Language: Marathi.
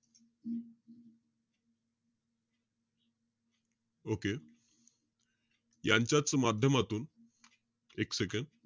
Okay यांच्याच माध्यमातून एक second,